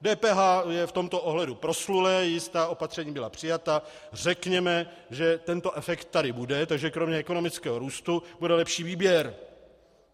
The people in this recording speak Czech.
DPH je v tomto ohledu proslulé, jistá opatření byla přijata, řekněme, že tento efekt tady bude, takže kromě ekonomického růstu bude lepší výběr.